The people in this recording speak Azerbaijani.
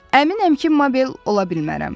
Əminəm ki, Mabel ola bilmərəm.